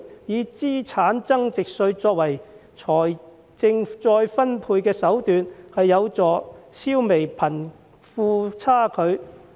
以資產增值稅作為財政再分配的手段，有助消弭貧富差距。